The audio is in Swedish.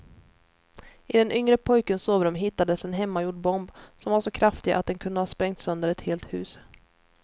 I den yngre pojkens sovrum hittades en hemmagjord bomb som var så kraftig att den kunde ha sprängt sönder ett helt hus.